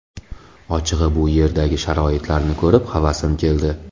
Ochig‘i bu yerdagi sharoitlarni ko‘rib havasim keldi.